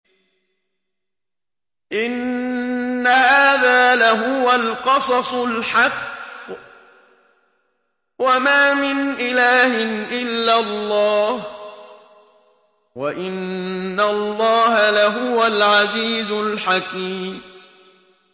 إِنَّ هَٰذَا لَهُوَ الْقَصَصُ الْحَقُّ ۚ وَمَا مِنْ إِلَٰهٍ إِلَّا اللَّهُ ۚ وَإِنَّ اللَّهَ لَهُوَ الْعَزِيزُ الْحَكِيمُ